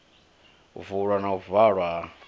vulwa na u valwa ha